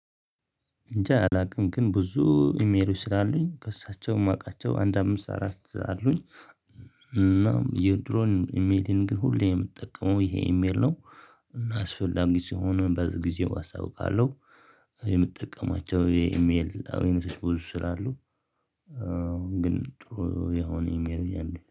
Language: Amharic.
እንጃ አላውቅም ግን ብዙ ኢሜሎች ስላሉኝ ከእሳቸውም አውቃቸው አንድ አምስት አራት አሉኝ። የድሮን ኢሜሌን ግን ሁሌ የምትጠቀመው ይሄ ኢሜል ነው። እና አስፈላጊ ሲሆን በዚህ ጊዜው አሳውቃለሁ። የምጠቀማቸው የኢሜል አይነቶች ብዙ ስላሉ ግን ጥሩ የሆነ ኢሜል ነው ያለኝ